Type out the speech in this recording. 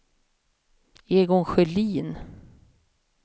Egon Sjölin